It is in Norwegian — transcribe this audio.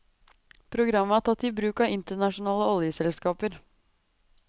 Programmet er tatt i bruk av internasjonale oljeselskaper.